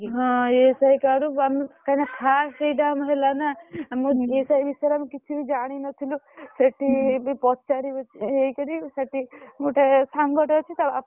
ହଁ ESI card ରୁ କାଇଁ ନା fast ଆମର ଏଇଟା ହେଲା ନା ମୁଁ ESI ବିଷୟରେ ଆମେ କିଛିବି ଜାଣିନଥିଲୁ ସେଠି ବି ପଚାରି ହେଇକିରୀ ସେଠି ଗୋଟେ ସାଙ୍ଗଟେ ଅଛି ତା ବାପା।